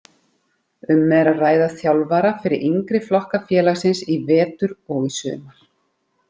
Um er að ræða þjálfara fyrir yngri flokka félagsins í vetur og í sumar.